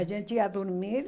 A gente ia dormir.